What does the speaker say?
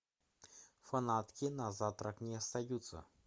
фанатки на завтрак не остаются